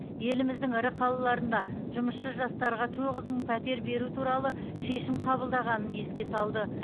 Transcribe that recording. еліміздің ірі қалаларында жұмысшы жастарға тоғыз мың пәтер беру туралы шешім қабылданғанын еске салды